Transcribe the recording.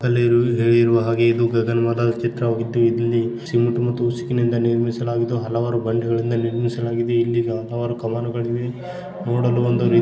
ಅಲ್ಲಿರುವ ಇರುವ ಹಾಗೆ ಇದು ಗಗನವಾದ ಚಿತ್ರ ವಾಗಿದ್ದು ಇಲ್ಲಿ ಸಿಮೆಂಟ್ ಮತ್ತು ಉಸುಕಿನಿಂದ ನಿರ್ಮಿಸಲಾಗಿದ್ದು ಹಲವಾರು ಬಂಡೆ ಗಳಿಂದ ನಿರ್ಮಿಸಲಾಗಿದೆ. ಇಲ್ಲಿ ಅಲವಾರು ಕಮಾನುಗಳಿವೆ ನೋಡಲು